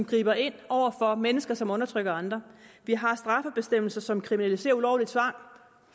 griber ind over for mennesker som undertrykker andre vi har strafbestemmelser som kriminaliserer ulovlig tvang og